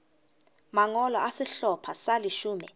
mangolo a sehlopha sa leshome